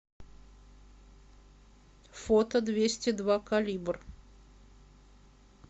фото двести два калибр